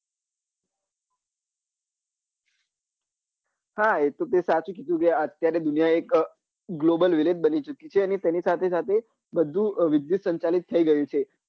હા એ તો તે સાચું જ કીધું છે અત્યરે દુનિયા global village બની ચુકી છે અને તેની સાથે સાથે બધું વિદ્યુત સંચાલિત થઇ ગયું છે